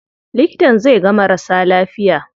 Likitan zai ga marasa lafiya.